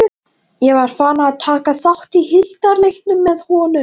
Ég var farinn að taka þátt í hildarleiknum með honum.